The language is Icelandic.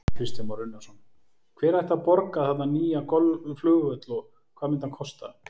Kristján Már Unnarsson: Hver ætti að borga þarna nýja flugvöll og hvað myndi hann kosta?